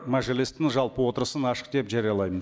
мәжілістің жалпы отырысын ашық деп жариялаймын